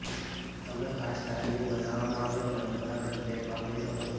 તમે cast iron બનાવવામાં આવે પરંપરાગત પ્લેટ વાપરી શકો છો